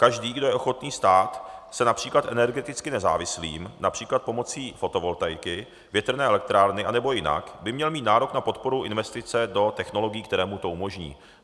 Každý, kdo je ochotný stát se například energeticky nezávislým například pomocí fotovoltaiky, větrné elektrárny anebo jinak, by měl mít nárok na podporu investice do technologií, které mu to umožní.